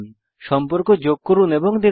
সম্পর্ক যোগ করুন এবং দেখুন